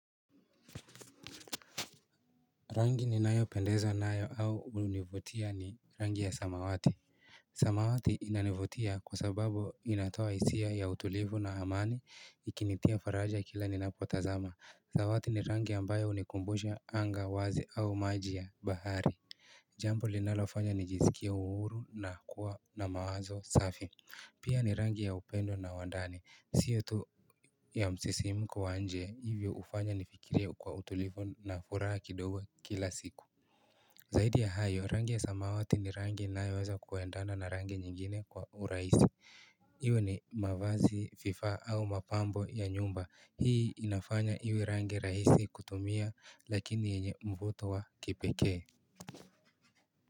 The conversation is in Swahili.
Rangi ni nayo pendezwa nayo au hunivutia ni rangi ya samawati. Samawati inanivutia kwa sababu inatoa hisia ya utulivu na amani ikinitia faraja kila ninapotazama. Samawati ni rangi ambayo unikumbusha anga wazi au maji ya bahari. Jambo linalofanya nijiziskie uhuru na kuwa na mawazo safi. Pia ni rangi ya upendo na wandani. Sio tu ya msisimuko wa nje, hivyo ufanya nifikirie kwa utulifo na furaha kidogo kila siku Zaidi ya hayo, rangi ya samawati ni rangi inayoweza kuendana na rangi nyingine kwa urahisi Iwe ni mavazi fifa au mapambo ya nyumba, hii inafanya iwe rangi rahisi kutumia lakini yenye mvuto wa kipekee.